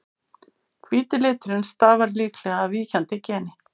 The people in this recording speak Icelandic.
hvíti liturinn stafar líklega af víkjandi geni